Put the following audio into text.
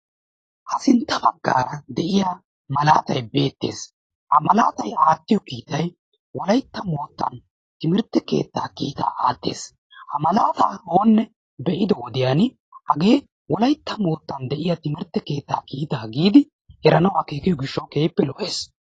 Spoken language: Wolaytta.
Ha sintta baggaara de'iya malatay beettees. Ha malatay aattiyo kiitay wolayitta mittaa timirtte keettaa kiitaa aattes. Ha malaataa oonne be'ido wodiyan hagee wolayitta moottan de'iya timirtte keettaa kiitaa giidi eranawu go'iyo gishshawu keehippe lo'ees.